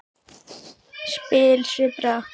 spil svipbrigða og orðavals, sem kom illa við Valdimar.